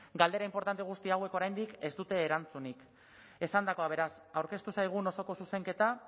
galdera inportante guzti hauek oraindik ez dute erantzunik esandakoa beraz aurkeztu zaigun osoko zuzenketa